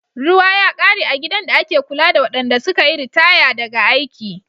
Ruwa ya kare a gidan da ake kula da waɗanda suka yi ritaya daga aiki.